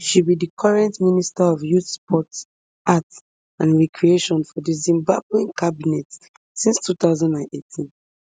she be di current minister of youth sport arts and recreation for di zimbawean cabinet since two thousand and eighteen